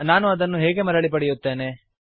ನಾನು ಅದನ್ನು ಹೇಗೆ ಮರಳಿ ಪಡೆಯುತ್ತೇನೆ